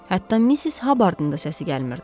Hətta Missis Habbardın da səsi gəlmirdi.